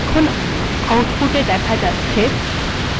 এখন আউটপুটে দেখা যাচ্ছে